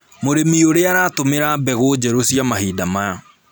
Mũrĩmi ũrĩa aratũmĩra mbegũ njerũ cia mahinda maya